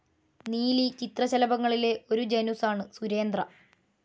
നീലി ചിത്രശലഭങ്ങളിലെ ഒരു ജനുസാണ് സുരേന്ദ്ര.